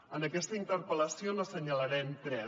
en aquesta interpel·lació n’assenyalarem tres